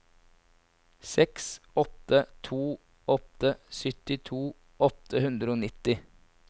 seks åtte to åtte syttito åtte hundre og nitti